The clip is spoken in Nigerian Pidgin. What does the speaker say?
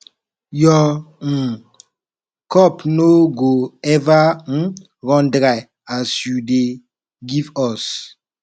your um cup no go eva um run dry as you dey give us